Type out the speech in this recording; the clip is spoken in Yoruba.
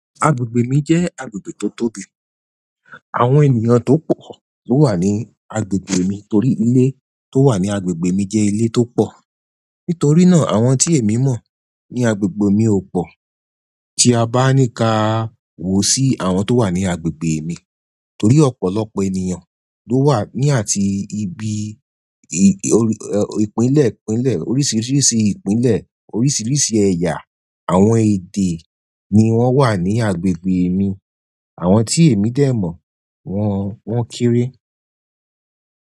Agbègbè mi jẹ́ agbègbè tó tóbi. Àwọn ènìyàn tó pọ̀ ló wà ní agbègbè mi torí ilé tó wà ní agbègbè mi jẹ́ ilé tó pọ̀. Nítorí náà, àwọn tí èmi mọ̀ ní agbègbè mi ò pọ̀. Tí a bá ní ka wò sí àwọn tó wà ní agbègbè mi torí ọ̀pọ̀lọpọ̀ ènìyàn ló wà ní àti ibi ì- ìpínlẹ̀, ìpínlẹ̀, oríṣiríṣi ìpínlẹ̀, oríṣiríṣi ẹ̀yà àwọn èdè ni wọ́n wà ní agbègbè mi. Àwọn tí èmi dè mọ̀ wọ́n, wọ́n kéré.